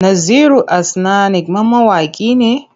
Naziru Asnanik ma mawaƙi ne?